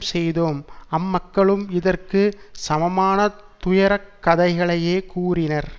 செய்தோம் அம்மக்களும் இதற்கு சமமான துயரக் கதைகளையே கூறினர்